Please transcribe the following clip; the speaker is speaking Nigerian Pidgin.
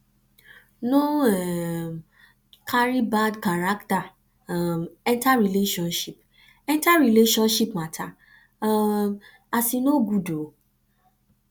no um cari bad carakta um enta relationship enta relationship mata um as e no good o